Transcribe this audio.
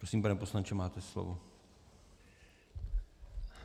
Prosím, pane poslanče, máte slovo.